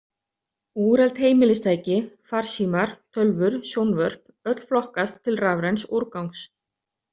Úreld heimilistæki, farsímar, tölvur, sjónvörp öll flokkast til rafræns úrgangs.